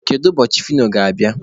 Kedu ụbọchị Fino ga-abịa?